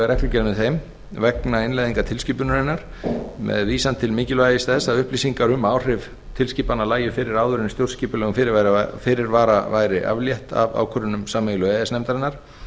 reglugerð með þeim vegna innleiðingar tilskipunarinnar með vísan til mikilvægis þess að upplýsingar um áhrif tilskipana lægju fyrir áður en stjórnskipulegum fyrirvara væri aflétt af ákvörðunum sameiginlegu e e s nefndarinnar